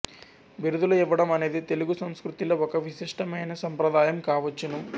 బిరుదులు ఇవ్వడం అనేది తెలుగు సంస్కృతిలో ఒక విశిష్టమైన సంప్రదాయం కావచ్చును